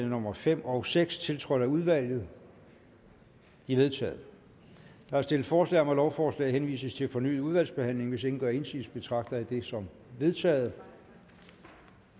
nummer fem og seks tiltrådt af udvalget de er vedtaget der er stillet forslag om at lovforslaget henvises til fornyet udvalgsbehandling hvis ingen gør indsigelse betragter jeg det som vedtaget